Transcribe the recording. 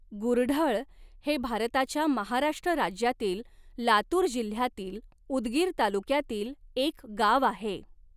गुरढळ हे भारताच्या महाराष्ट्र राज्यातील लातूर जिल्ह्यातील उदगीर तालुक्यातील एक गाव आहे.